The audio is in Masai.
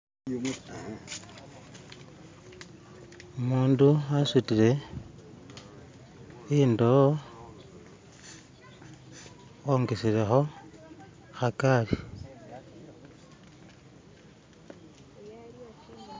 Umundu asutile indowo wongeselekho khakali.